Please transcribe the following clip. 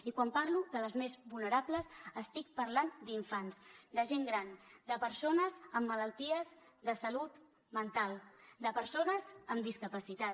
i quan parlo de les més vulnerables estic parlant d’infants de gent gran de persones amb malalties de salut mental de persones amb discapacitat